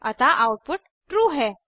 अतः output true है